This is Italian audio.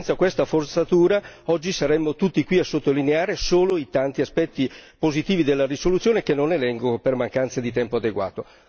Senza questa forzatura, oggi saremmo qui tutti a sottolineare solo i tanti aspetti positivi della risoluzione che non elenco per mancanza di tempo adeguato.